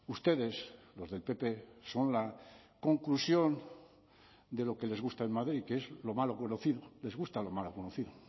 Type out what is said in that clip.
ustedes los del pp son la conclusión de lo que les gusta en madrid que es lo malo conocido les gusta lo malo conocido